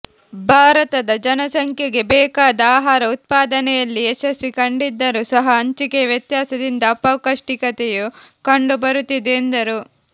ಭಾರತದ ಜನಸಂಖ್ಯೆಗೆ ಬೇಕಾದ ಆಹಾರ ಉತ್ಪಾದನೆಯಲ್ಲಿ ಯಶಸ್ವಿ ಕಂಡಿದ್ದರೂ ಸಹ ಹಂಚಿಕೆಯ ವ್ಯತ್ಯಾಸದಿಂದ ಅಪೌಷ್ಟಿಕತೆಯು ಕಂಡುಬರುತ್ತಿದೆ ಎಂದರು